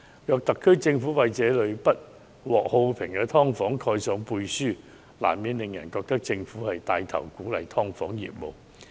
假使特區政府為這類不獲好評的"劏房"背書，難免令人質疑政府是否牽頭鼓勵"劏房"業務。